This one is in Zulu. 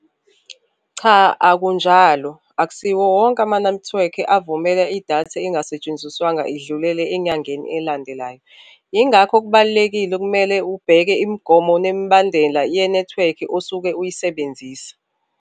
Cha akunjalo, akusiwo wonke amanethiwekhi avumele idatha engasetshenziswanga idlulele enyangeni elandelayo, ingakho kubalulekile okumele ubheke imigomo nemibandela yenethiwekhi osuke uyisebenzisa.